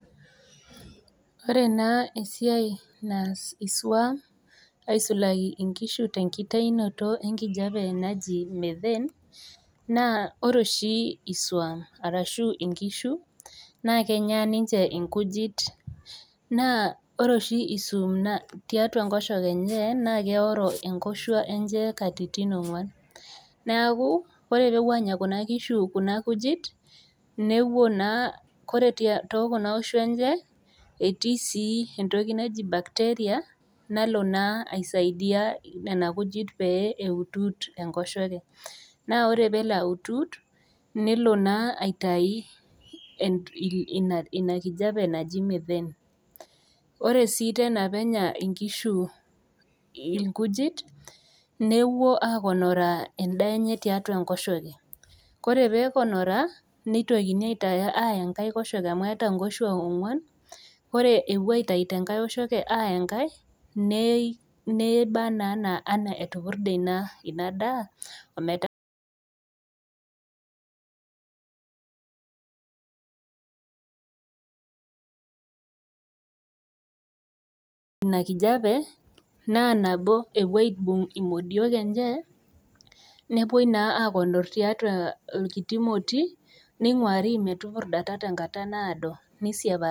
Ore naa esiai naas esuam aisulaki inkisthe nkitainoto enkijape naji [cs methene naa ore oshi isuam arashu inkishu naa kenyaa ninche nkujit naa ore oshi isuam naa tiatua nkosheke enye naa keoro inkoshua enye nkatitin ongwan, naaku ore peepuo aanya kuna inkishu kuna nkujit nepuo naa kore te kuna oshua enche etii sii entoki naji bacteria nalo naa aisaidia nena nkujit naa pee eud'ud te nkosheke, naa ore peelo aud'ud nelo naa aitai ina nkijape naji methene. Ore sii tena peenya inkishu inkujit nepuonoraa indiaki enye tiatua enkosheke, kore peeponoraa neitokini aaya inkae nkosheke amu keeta nkoshua ongwan, ore epuo aitai te engae nkosheke aaya enkae ,neibaa naa anaa etupurde inadaa atu eeta naa ina enkijape naa nabo epuo aibung' moduok enchee nepoi naa aaponu tiatua ilkiti ilmoti neing'uari metupurdata tenkata naado neisiapa.